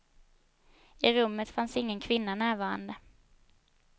I rummet fanns ingen kvinna närvarande.